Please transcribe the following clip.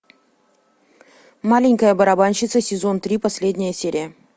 маленькая барабанщица сезон три последняя серия